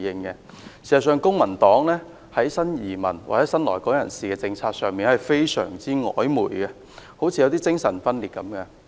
事實上，公民黨的新移民或新來港人士政策非常曖昧，好像精神分裂一樣。